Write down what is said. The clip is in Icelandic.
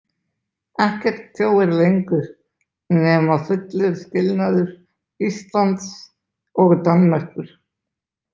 Ekkert tjóir lengur nema fullur skilnaður Íslands og Danmerkur.